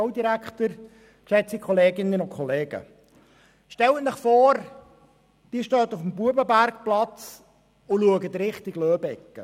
Stellen Sie sich vor, Sie stehen am Bubenbergplatz und blicken Richtung Loeb-Ecke.